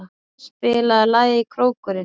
Ían, spilaðu lagið „Krókurinn“.